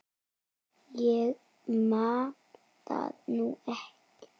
Ég man það nú ekki.